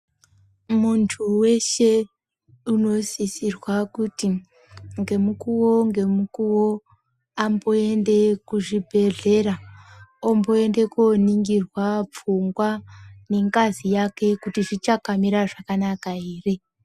Munthu weshe unosisirwa kuti ngemukuwo ngwmukuwo amboenda kuchibhedhlera, omboenda koningirwa pfungwa nengazi yake kuti zvichakamira zvakanaka ere.